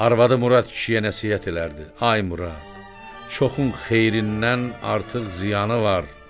Arvadı Murad kişiyə nəsihət edərdi: “Ay Murad, çoxun xeyrindən artıq ziyanı var.”